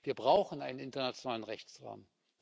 Wir brauchen einen internationalen Rechtsrahmen.